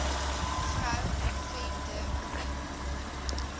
vrou venter l